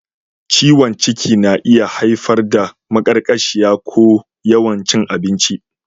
Ciwon ciki na iya haifar da maƙarƙashiya ko yawan cin abinci.